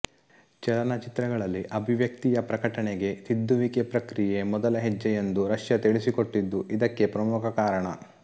ಚಲನಚಿತ್ರಗಳಲ್ಲಿ ಅಭಿವ್ಯಕ್ತಿಯ ಪ್ರಕಟಣೆಗೆ ತಿದ್ದುವಿಕೆ ಪ್ರಕ್ರಿಯೆ ಮೊದಲ ಹೆಜ್ಜೆ ಎಂದು ರಷ್ಯಾ ತಿಳಿಸಿಕೊಟ್ಟಿದ್ದೂ ಇದಕ್ಕೆ ಪ್ರಮುಖ ಕಾರಣ